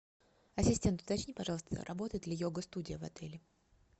ассистент уточни пожалуйста работает ли йога студия в отеле